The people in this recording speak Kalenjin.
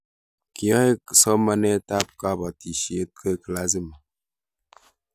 Kiyae somanet ab kabatishet koek lazima